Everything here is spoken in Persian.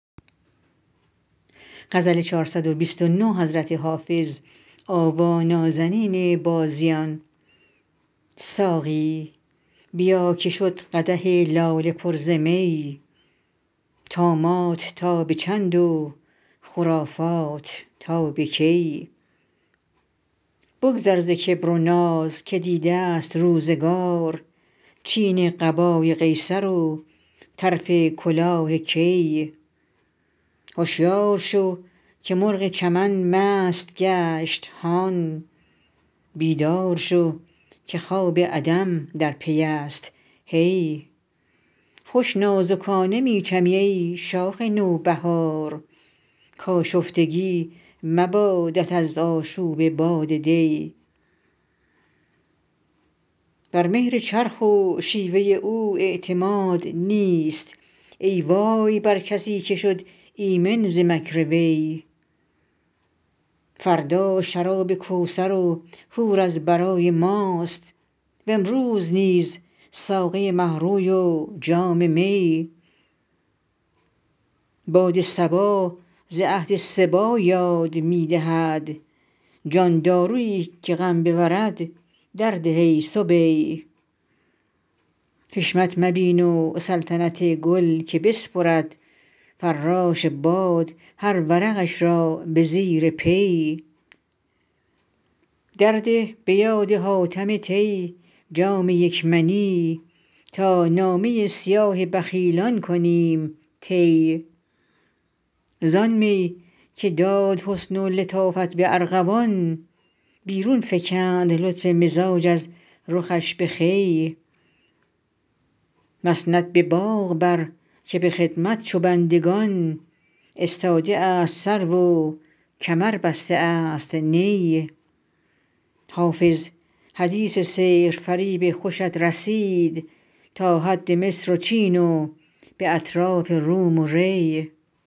ساقی بیا که شد قدح لاله پر ز می طامات تا به چند و خرافات تا به کی بگذر ز کبر و ناز که دیده ست روزگار چین قبای قیصر و طرف کلاه کی هشیار شو که مرغ چمن مست گشت هان بیدار شو که خواب عدم در پی است هی خوش نازکانه می چمی ای شاخ نوبهار کآشفتگی مبادت از آشوب باد دی بر مهر چرخ و شیوه او اعتماد نیست ای وای بر کسی که شد ایمن ز مکر وی فردا شراب کوثر و حور از برای ماست و امروز نیز ساقی مه روی و جام می باد صبا ز عهد صبی یاد می دهد جان دارویی که غم ببرد درده ای صبی حشمت مبین و سلطنت گل که بسپرد فراش باد هر ورقش را به زیر پی درده به یاد حاتم طی جام یک منی تا نامه سیاه بخیلان کنیم طی زآن می که داد حسن و لطافت به ارغوان بیرون فکند لطف مزاج از رخش به خوی مسند به باغ بر که به خدمت چو بندگان استاده است سرو و کمر بسته است نی حافظ حدیث سحرفریب خوشت رسید تا حد مصر و چین و به اطراف روم و ری